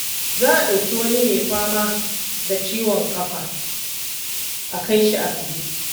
Za a ɗauki wani mai fama da ciwon kafa a kai shi asibiti.